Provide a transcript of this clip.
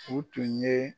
U tun ye